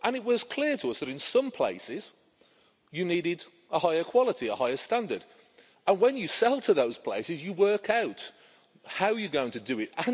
It was clear to us that in some places you needed a higher quality, a higher standard, and when you sell to those places you work out how you're going to do it.